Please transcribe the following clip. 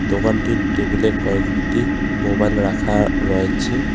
দোকানটির টেবিলে কয়েকটি মোবাইল রাখা রয়েছে.